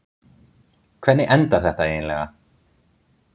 Hvernig endar þetta eiginlega?